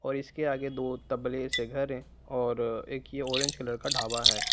और इसके आगे दो तबले से घर है और एक ये ऑरेंज कलर का ढाबा है।